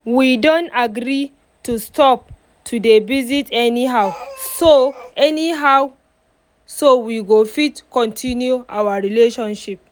we don agree to stop to dey visit anyhow so anyhow so we go fit continue our relationship